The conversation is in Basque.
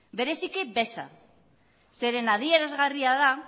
bereziki beza zeren adierazgarria da